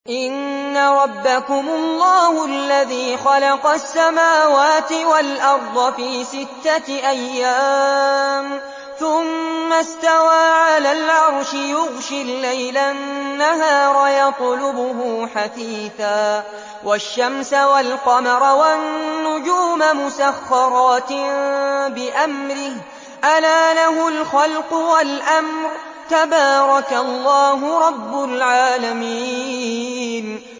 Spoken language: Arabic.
إِنَّ رَبَّكُمُ اللَّهُ الَّذِي خَلَقَ السَّمَاوَاتِ وَالْأَرْضَ فِي سِتَّةِ أَيَّامٍ ثُمَّ اسْتَوَىٰ عَلَى الْعَرْشِ يُغْشِي اللَّيْلَ النَّهَارَ يَطْلُبُهُ حَثِيثًا وَالشَّمْسَ وَالْقَمَرَ وَالنُّجُومَ مُسَخَّرَاتٍ بِأَمْرِهِ ۗ أَلَا لَهُ الْخَلْقُ وَالْأَمْرُ ۗ تَبَارَكَ اللَّهُ رَبُّ الْعَالَمِينَ